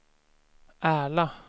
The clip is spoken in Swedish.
Ärla